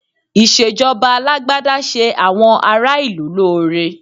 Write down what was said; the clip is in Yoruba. Ìṣèjọba Alágbádá ṣe àwọn ará ìlú lóore